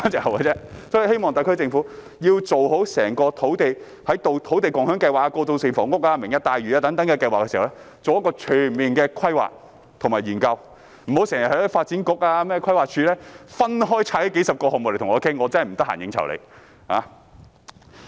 我希望特區政府在推行土地共享計劃、過渡性房屋、"明日大嶼"等計劃時，做好全面的規劃及研究，發展局、規劃署不要時常分拆數十個項目來商議，我真的沒空應酬他們。